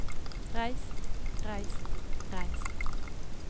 reist reist reist